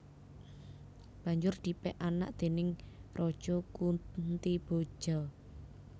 Banjur dipek anak déning Raja Kuntiboja